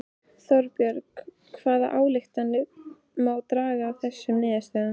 Þorbjörn hvaða ályktanir má draga af þessum niðurstöðum?